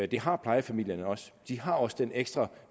det har plejefamilierne også de har også den ekstra